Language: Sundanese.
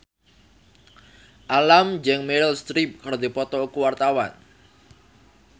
Alam jeung Meryl Streep keur dipoto ku wartawan